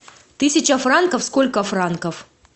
тысяча франков сколько франков